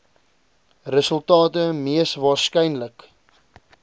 resultate mees waarskynlik